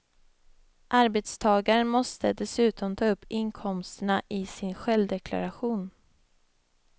Arbetstagaren måste dessutom ta upp inkomsterna i sin självdeklaration.